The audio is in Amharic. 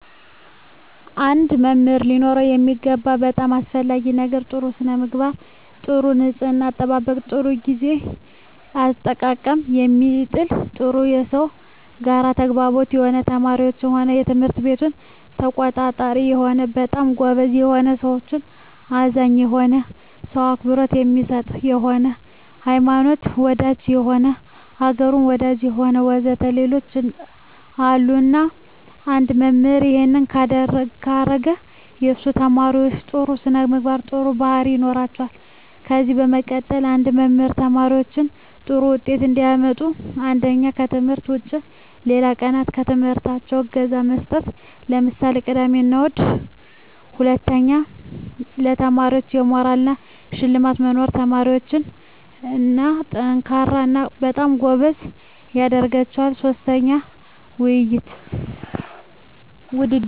አንድ መምህር ሊኖረው የሚገባው በጣም አሰፈላጊ ነገር ጥሩ ስነምግባር ጥሩ ንጽሕና አጠባበቅ ጥሩ ግዜ አጠቃቀም የሚችል ጥሩ ከሰው ጋር ተግባቢ የሆነ ለተማሪዎች ሆነ ለትምህርት ቤቱ ተቆርቋሪ የሆነ በጣም ጎበዝ የሆነ ለሠዎች አዛኝ የሆነ ሰው አክብሮት የሚሰጥ የሆነ ሀይማኖት ወዳጅ የሆነ አገሩን ወዳጅ የሆነ ወዘተ ሌሎችም አሉ እና አንድ መምህራን እሄን ካረገ የሱ ተመራማሪዎች ጥሩ ስነምግባር ጥሩ ባህሪያት ይኖራቸዋል ከዚ በመቀጠል አንድ መምህር ተማሪዎች ጥሩ ውጤት እንዲያመጡ አንደኛ ከትምህርት ውጭ ሌላ ቀናት በትምህርታቸው እገዛ መስጠት ለምሳሌ ቅዳሜ እሁድ ሁለተኛ ለተማሪዎች የሞራል እና የሽልማት መኖር ተማሪዎች &ጠንካራ እና በጣም ጎበዝ ያደረጋቸዋል ሥስተኛ ውድድር